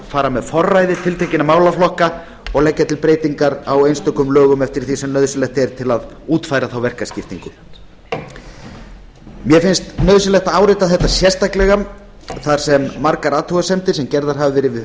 fara með forræði tiltekinna málaflokka og leggja til breytingar á einstökum lögum eftir því sem nauðsynlegt er til að útfæra þá verkaskiptingu mér finnst nauðsynlegt að árétta þetta sérstaklega þar sem margar athugasemdir sem gerðar hafa verið við